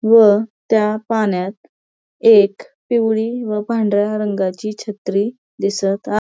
व त्या पाण्यात एक पिवळी व पांढऱ्या रंगाची छत्री दिसत आ--